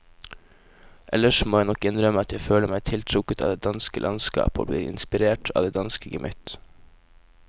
Ellers må jeg nok innrømme at jeg føler meg tiltrukket av det danske landskap og blir inspirert av det danske gemytt.